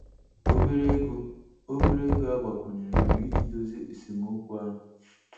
Obere ego Obere ego agbakwunyere bụ iji dozie esemokwu ahụ.